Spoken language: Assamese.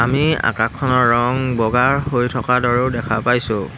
এই আকাশখনৰ ৰং বগাৰ হৈ থকাৰ দৰেও দেখা পাইছোঁ।